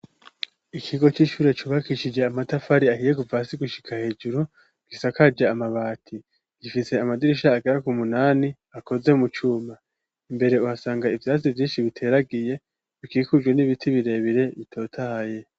Ikigo c'ishure cubakishije amatafari ahiye kuva hasi gushika hejuru, gisakaja amabati. Gifise amadirisha agera ku munani akoze mu cuma. imbere uhasanga ivyasi vyinshi biteragiye, bikikujwe n'ibiti birebire bitotahaye.